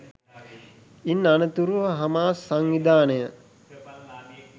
ඉන් අනතුරුව හමාස් සංවිධානය